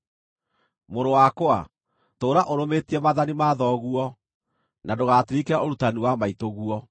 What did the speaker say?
Mũrũ wakwa, tũũra ũrũmĩtie maathani ma thoguo, na ndũgatirike ũrutani wa maitũguo.